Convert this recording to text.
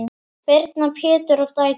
Birna, Pétur og dætur.